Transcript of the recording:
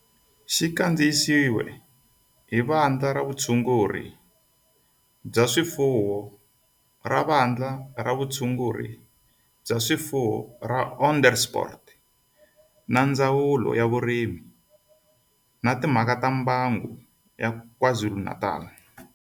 Xi kandziyisiwe hi Vandla ra Vutshunguri bya swifuwo ra Vandla ra Vutshunguri bya swifuwo ra Onderstepoort na Ndzawulo ya Vurimi na Timhaka ta Mbango ya KwaZulu-Natal.